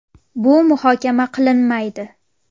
Bu muhokama qilinmaydi”.